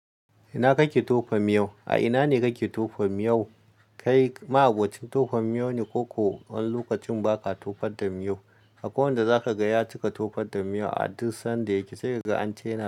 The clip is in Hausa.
Ina kake tofa miyo? A ina ne kake tofa miyo? Kai ma'abocin tofa miyo ne ko kuwa wani lokacin baka tofar da miyo. Akwai wanda zaka ga ya cika tofar da miyo a duk sanda yake, sai kaga ance na.